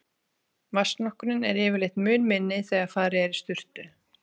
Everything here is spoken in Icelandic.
Vatnsnotkunin er yfirleitt mun minni þegar farið er í sturtu.